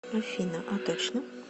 афина а точно